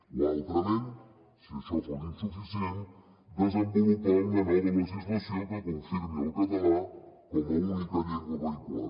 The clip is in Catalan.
o altrament si això fos insuficient desenvolupar una nova legislació que confirmi el català com a única llengua vehicular